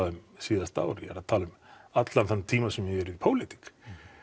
um síðasta ár ég er að tala um allan þann tíma sem ég hef verið í pólitík